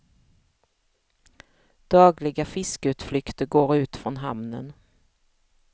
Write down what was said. Dagliga fiskeutflykter går ut från hamnen.